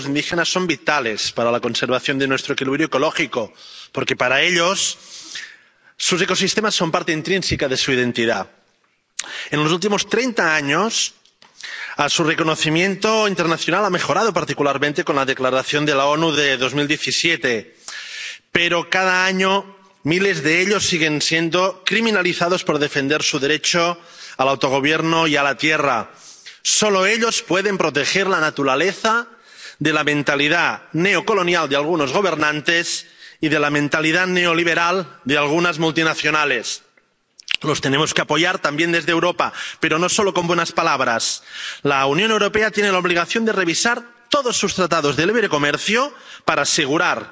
Señor presidente, a pesar de ser sistemáticamente discriminados u oprimidos por los Estados coloniales, los pueblos indígenas son vitales para la conservación de nuestro equilibrio ecológico, porque para ellos sus ecosistemas son parte intrínseca de su identidad. En los últimos treinta años, su reconocimiento internacional ha mejorado, particularmente con la Declaración de las Naciones Unidas de 2017, pero cada año miles de ellos siguen siendo criminalizados por defender su derecho al autogobierno y a la tierra. Solo ellos pueden proteger la naturaleza de la mentalidad neocolonial de algunos gobernantes y de la mentalidad neoliberal de algunas multinacionales. Los tenemos que apoyar también desde Europa, pero no solo con buenas palabras. La Unión Europea tiene la obligación de revisar todos sus tratados de libre comercio para asegurar